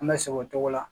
An bɛ sɛgɛn o cogo la